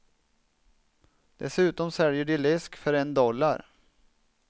Dessutom säljer de läsk för en dollar.